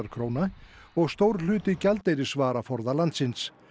króna og stór hluti gjaldeyrisvaraforða landsins